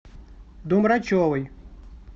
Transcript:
домрачевой